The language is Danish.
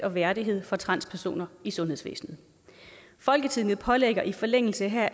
og værdighed for transpersoner i sundhedsvæsenet folketinget pålægger i forlængelse heraf